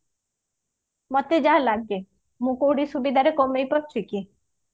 ମତେ ଯାହା ଲାଗେ ମୁଁ କୋଉଠି ସୁବିଧାରେ କମେଇ ପାରୁଛି କି